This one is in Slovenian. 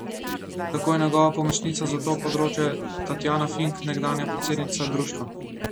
Tako je njegova pomočnica za to področje Tatjana Fink, nekdanja predsednica društva.